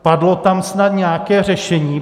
Padlo tam snad nějaké řešení?